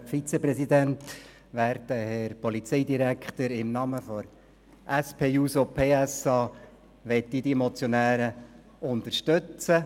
Im Namen der SP-JUSO-PSA-Fraktion möchte ich die Motionäre unterstützen.